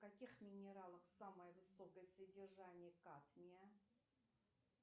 в каких минералах самое высокое содержание кадмия